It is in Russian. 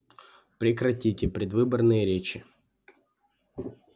прекратите предвыборные речи